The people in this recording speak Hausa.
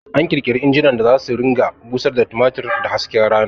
An ƙirƙiri injinan da zasu ringa busar da tumatir da hasken rana